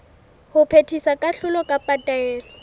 ho phethisa kahlolo kapa taelo